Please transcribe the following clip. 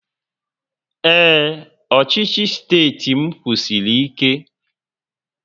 Ee, ọchịchị steeti m kwụsiri ike